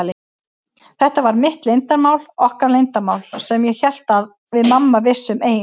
Þetta var mitt leyndarmál, okkar leyndarmál, sem ég hélt að við mamma vissum ein.